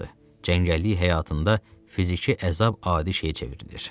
Cəngəllik həyatında fiziki əzab adi şeyə çevrilir.